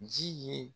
Ji ye